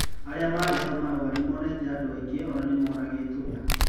Aria mari hau marauga nimonete andũ aigana ona ñĩmaũragĩtwo.